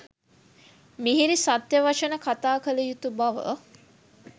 මිහිරි සත්‍ය වචන කතා කළ යුතු බව